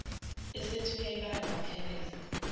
esethi uyayibala wamhebeza